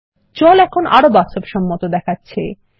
জল এখন আরো বাস্তবসম্মত দেখাচ্ছে160